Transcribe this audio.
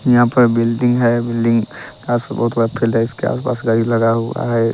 यहां पर बिल्डिंग है बिल्डिंग का लगा हुआ है।